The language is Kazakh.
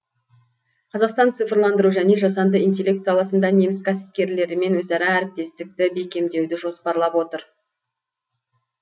қазақстан цифрландыру және жасанды интеллект саласында неміс кәсіпкерлерімен өзара әріптестікті бекемдеуді жоспарлап отыр